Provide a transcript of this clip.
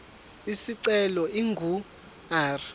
isicelo ingu r